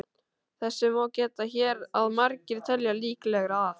Þess má geta hér að margir telja líklegra að